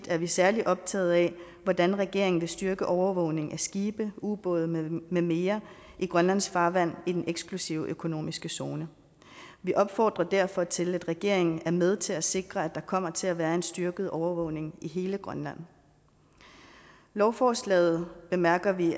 er vi særlig optaget af hvordan regeringen vil styrke overvågningen af skibe ubåde med mere i grønlands farvand i den eksklusive økonomiske zone vi opfordrer derfor til at regeringen er med til at sikre at der kommer til at være en styrket overvågning i hele grønland lovforslaget bemærker vi